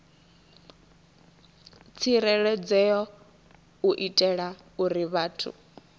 tsireledzeaho u itela uri vhathu